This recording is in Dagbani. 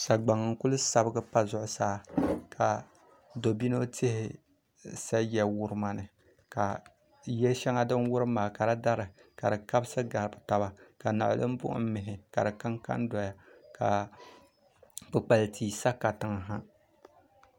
Sagabaŋ n ku sabigi pa zuɣusaa ka dobino tihi sa ya wurima ni ka ya shɛŋa din wurim maa ka di dari ka di kabisi gabi tabi ka niɣilm buɣum mihi ka di kanka n doya ka kpukpali tia sa katiŋ ha